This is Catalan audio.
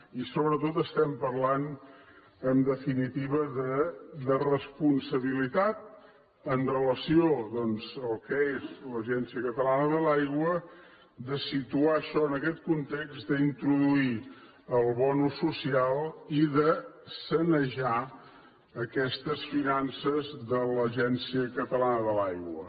i sobretot estem parlant en definitiva de responsabilitat amb relació doncs al que és l’agència catalana de l’aigua de situar això en aquest context d’introduir el bo social i de sanejar aquestes finances de l’agència catalana de l’aigua